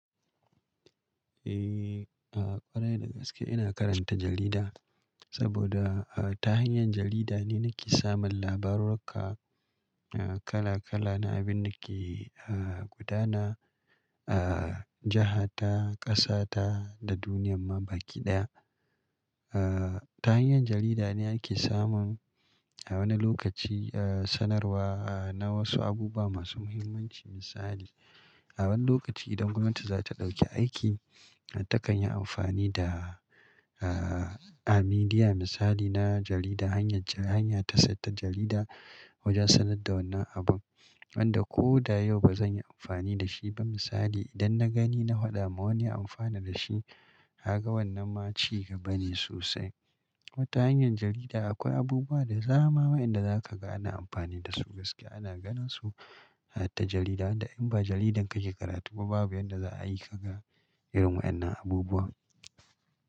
Eh, a ƙwarai da gaske ina karanta jarida saboda a ta hanyar jarida ne nake samun labarurruka kala kala na abin da ke a gudana a jiha ta, ƙasa ta da duniyan ma baki ɗaya. A ta hanyar jarida ne ake samun a wani lokaci a sanarwa a na wasu abubuwa masu muhimmanci misali a wani lokaci idan gwamnati za ta ɗauki aiki ta kan yi amfani da a midiya misali na jarida hanyar ta saita jarida wajen sanar da wannan abun wanda ko da yau ba zan yi amfani da shi ba misali idan na gani na hwaɗa ma wani amfana da shi kaga wannan ma ci gaba ne sosai. Wata hanyar jarida akwai abubuwa da zama wa inda za ka ga ana amfani da su gaskiya ana ganin su ta jarida inda in ba jaridar kake karatu ba babu inda za a yi ka ga irin waɗannan abubuwa.